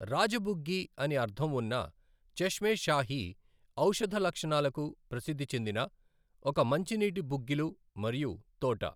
రాజ బుగ్గి అని అర్ధం ఉన్న చష్మే షాహి, ఔషధ లక్షణాలకు ప్రసిద్ధి చెందిన ఒక మంచినీటి బుగ్గిలు మరియు తోట.